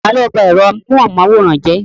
Ta ló bá ẹ̀rọ amóhunmáwòrán jẹ́?